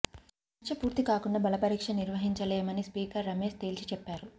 చర్చ పూర్తి కాకుండా బల పరీక్ష నిర్వహించలేమని స్పీకర్ రమేష్ తేల్చి చెప్పారు